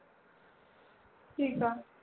ਠੀਕ ਆ